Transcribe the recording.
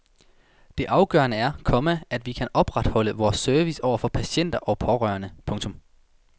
Det afgørende er, komma at vi kan opretholde vores service over for patienter og pårørende. punktum